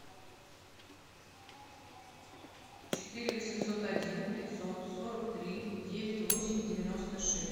четыре восемьсот один пятьсот сорок три девять восемь девяносто шесть